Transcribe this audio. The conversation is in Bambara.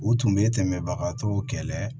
U tun bɛ tɛmɛbagatɔw kɛlɛ